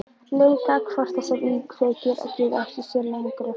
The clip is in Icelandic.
leika hvort þessar íkveikjur geti átt sér lengri forsögu.